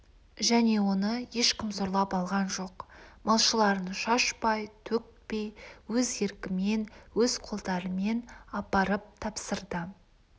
және оны ешкім зорлап алған жоқ малшыларың шашпай-төкпей өз еркімен өз қолдарымен апарып тапсырды